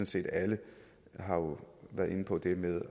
set alle har jo været inde på det med